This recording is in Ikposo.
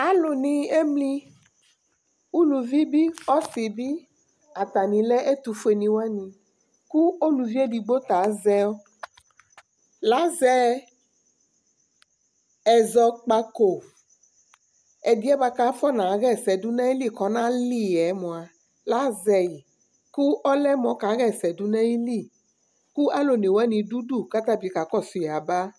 Alu ni emli ʋlʋvi bi ɔsi bi Atani lɛ ɛtʋfʋe ni wani kʋ ʋlʋvi ɛdigbo ta azɛ ɛzɔkpako, ɛdiɛ kʋ afɔna ɣɛsɛdu nʋ ayìlí kɔna li yɛ mʋa , lazɛ yi kʋ ɛlʋmu ɔka ɣɛsɛ du nʋ ayìlí kʋ alu ɔne wani du ʋdu kʋ atabi kakɔsu yaba